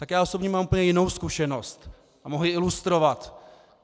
Tak já osobně mám úplně jinou zkušenost a mohu ji ilustrovat.